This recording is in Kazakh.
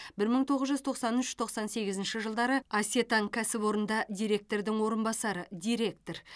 бір мың тоғыз жүз тоқсан үш тоқсан сегізінші жылдары асетан кәсіпорнында директордың орынбасары директор